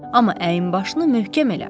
Amma əyin başını möhkəm elə.